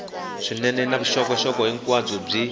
swinene na vuxokoxoko hinkwabyo byi